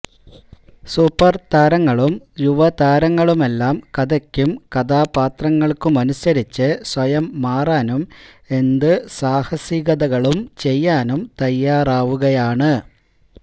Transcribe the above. സൂപ്പര്താരങ്ങളും യുവതാരങ്ങളുമെല്ലാം കഥയ്ക്കും കഥാപാത്രങ്ങള്ക്കുമനുസരിച്ച് സ്വയം മാറാനും എന്ത് സാഹസികതകളും ചെയ്യാനും തയ്യാറാവുകയാണ്